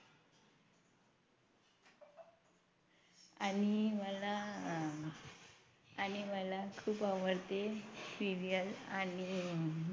आणि मला आणि मला खूप आवडते Serial आणि